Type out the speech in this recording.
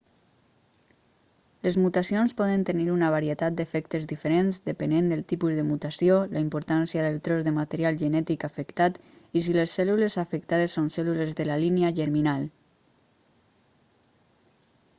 les mutacions poden tenir una varietat d'efectes diferents depenent del tipus de mutació la importància del tros de material genètic afectat i si les cèl·lules afectades són cèl·lules de la línia germinal